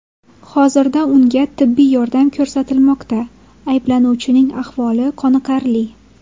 Hozirda unga tibbiy yordam ko‘rsatilmoqda, ayblanuvchining ahvoli qoniqarli.